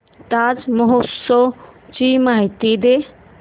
ताज महोत्सव ची माहिती दे